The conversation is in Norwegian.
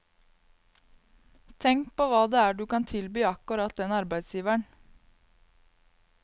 Tenk på hva det er du kan tilby akkurat den arbeidsgiveren.